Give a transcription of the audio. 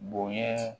Bonɲɛ